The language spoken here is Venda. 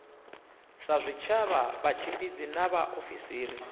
sa zwitshavha vhatshimbidzi na vhaofisiri